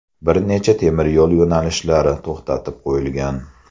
Bir necha temiryo‘l yo‘nalishlari to‘xtatib qo‘yilgan.